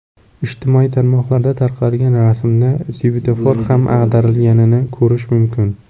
Ijtimoiy tarmoqlarda tarqalgan rasmda svetofor ham ag‘darilganini ko‘rish mumkin.